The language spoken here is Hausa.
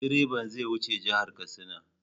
Direban zai wuce jihar Katsina.